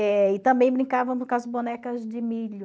Eh e também brincava com as bonecas de milho.